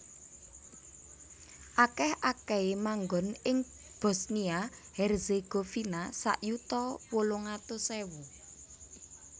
Akèh akèhé manggon ing Bosnia Herzegovina sak yuta wolung atus ewu